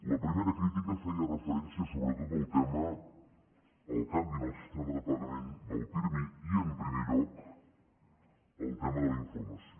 la primera crítica feia referència sobretot al tema al canvi en el sistema de pagament del pirmi i en primer lloc al tema de la informació